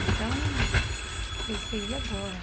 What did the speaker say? Então, pensei, e agora?